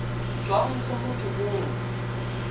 tswang go motho yo o